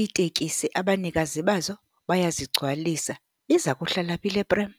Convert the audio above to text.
iitekisi abanikazi bazo bayazigcwalisa. Iza kuhlala phi le prem?